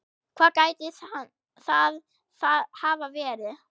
Hvað gæti það hafa verið?